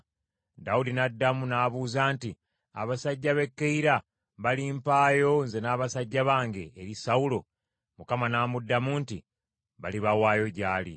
Dawudi n’addamu n’abuuza nti, “Abasajja b’e Keyira balimpaayo nze n’abasajja bange eri Sawulo?” Mukama n’amuddamu nti, “Balibawaayo gy’ali.”